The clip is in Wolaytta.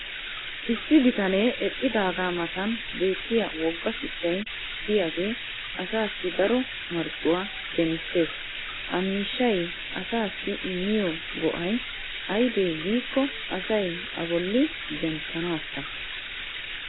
issi bitanee eqqidaagaa matan beettiya woga shuchchay diyaagee asaassi daro marccuwaa demissees. ha miishshay asaassi immiyo go'ay aybee giikko asay a boli zemppanaassa.